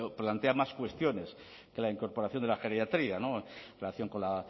pero plantea más cuestiones que la incorporación de la geriatría en relación con la